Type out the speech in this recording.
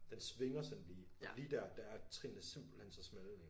Den svinger sådan lige lige dér der er trinene simpelthen så smalle